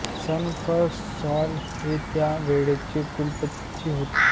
sir Frank Sly हे त्या वेळेचे कुलपती होते